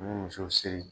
U bɛ muso siri